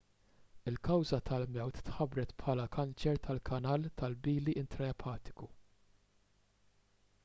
il-kawża tal-mewt tħabbret bħala kanċer tal-kanal tal-bili intraepatiku